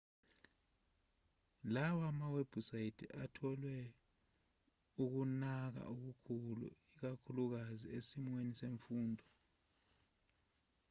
lawa mawebhusayithi atholwe ukunaka okukhulu ikakhulukazi esimweni semfundo